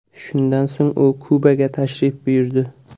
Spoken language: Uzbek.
Shundan so‘ng u Kubaga tashrif buyurdi.